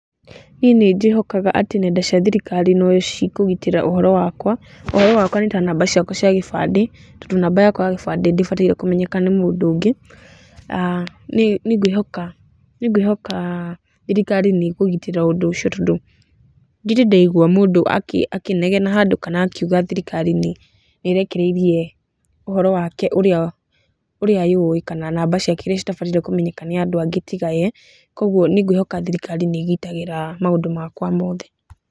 Niĩ nĩnjĩhokaga atĩ nenda cia thirikari no cikũgitĩra ũhoro wakwa, ũhoro wakwa nĩ ta namba ciakwa cia gĩbandĩ, tondũ namba yakwa ya gĩbandĩ ndĩbataire kũmenyeka nĩ mũndũ ũngĩ. Nĩ ngwĩhoka thirikari nĩ ĩkũgitĩra ũndũ ũcio tondũ ndirĩ ndaigua mũndũ akĩnegena handũ kana akiuga atĩ thirikari nĩ ĩrekereire ũhoro wake ũrĩa yũĩ kana namba ciake irĩa citabataire kũmenyeka nĩ andũ angĩ tiga ye, kuũguo nĩ ngwĩhoka atĩ thirikari nĩ ĩgitagĩra maũndũ makwa mothe.